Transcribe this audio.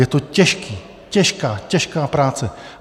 Je to těžký, těžká, těžká práce.